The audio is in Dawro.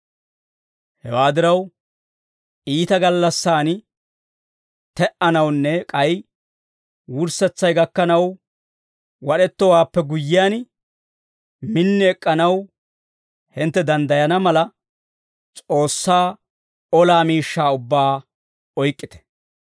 Hewaa diraw, iita gallassaan te"anawunne k'ay wurssetsay gakkanaw wad'ettowaappe guyyiyaan, min ek'k'anaw hintte danddayana mala, S'oossaa olaa miishshaa ubbaa oyk'k'ite.